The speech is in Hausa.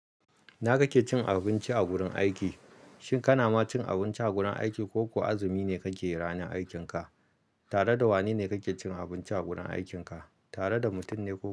Ina kake cin abinci a wurin aiki? Shin kana ma cin abinci a gurin aiki ko kuwa azumi ne kake yi ranar aikinka? Tare da wane ne kake cin abinci a gurin aikin ka? Tare da mutum ne ko kuma.